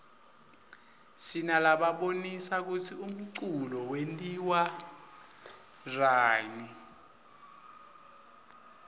sinalabonisa kutsi umculo wentiwaryani